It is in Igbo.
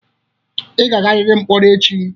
Ị ga-agariri mkpọrọ echi!